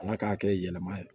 Ala k'a kɛ yɛlɛma ye